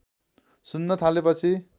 सुन्न थालेपछि